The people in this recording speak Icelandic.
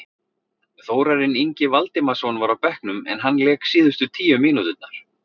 Þórarinn Ingi Valdimarsson var á bekknum en hann lék síðustu tíu mínúturnar.